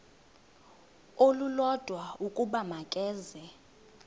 olulodwa ukuba makeze